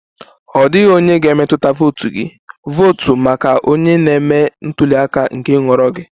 Ọ dịghị onye ga-emetụta votu gị, votu maka onye na-eme ntuli aka nke nhọrọ gị!